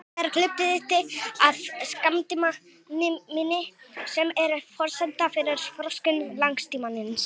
Þetta er hluti af skammtímaminni sem er forsenda fyrir þroskun langtímaminnis.